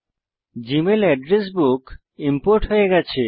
জী mail address book import হয়ে গেছে